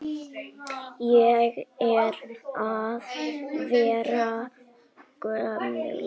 Ég er að verða gömul.